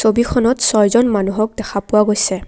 ছবিখনত ছয়জন মানুহক দেখা পোৱা গৈছে।